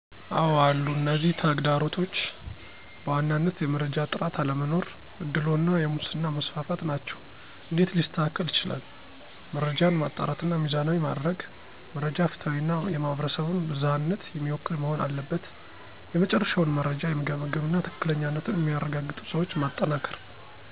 አወ አሉ፤ እነዚህ ተግዳሮቶች በዋናነት የመረጃ ጥራት አለመኖር፣ አድልዎ እና የሙስና መስፋፋት ናቸው። #እንዴት ሊስተካከል ይችላል? * መረጃን ማጣራትና ሚዛናዊ ማድረግ: * መረጃ ፍትሃዊ እና የማህበረሰቡን ብዝሃነት የሚወክል መሆን አለበት። የመጨረሻውን መረጃ የሚገመግም እና ትክክለኛነቱን የሚያረጋግጡ ሰዎች ማጠናከር።